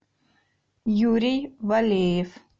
юрий валеев